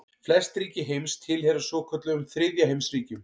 Flest ríki heims tilheyra svokölluðum þriðja heims ríkjum.